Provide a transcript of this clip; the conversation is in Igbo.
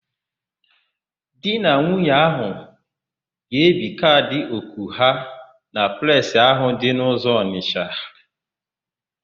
Di na nwunye áhụ̀ ga-ebi kaadị òkù ha na Presị ahụ dị n'ụzọ Ọnịsha.